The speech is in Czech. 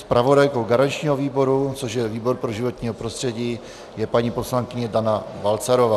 Zpravodajkou garančního výboru, což je výbor pro životní prostředí, je paní poslankyně Dana Balcarová.